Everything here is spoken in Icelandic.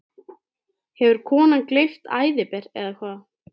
Hefur konan gleypt æðiber, eða hvað?